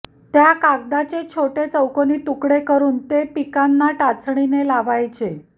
त्या कागदाचे छोटे चौकोनी तुकडे करून ते पिकांना टाचणीने लावायचे